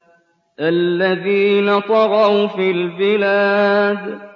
الَّذِينَ طَغَوْا فِي الْبِلَادِ